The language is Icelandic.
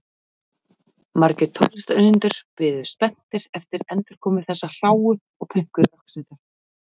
Margir tónlistarunnendur bíða spenntir eftir endurkomu þessarar hráu og pönkuðu rokksveitar.